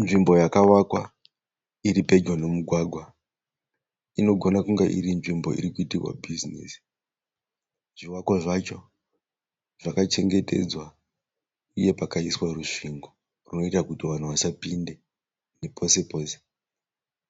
Nzvimbo yakavakwa iri pedyo nemugwagwa. Inogona iri nzvimbo irikuitirwa bhizinesi. Zvivakwa zvacho zvakachengetedzwa. Uye pakaiswa rusvingo rwunoita kuti vanhu vasapinde nepose pose.